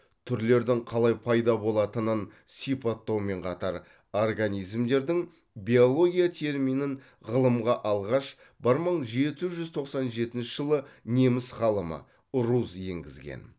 түрлердің қалай пайда болатынын сипаттаумен қатар организмдердің биология терминін ғылымға алғаш бір мың жеті жүз тоқсан жетінші жылы неміс ғалымы руз енгізген